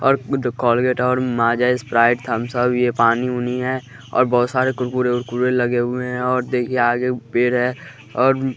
और कॉलगेट और माजा स्प्राइट थम सब ये पानी उनी है और बहुत सारे कुरकुरे उरकुरे लगे हुए हैं और देखिए आगे पेर है और --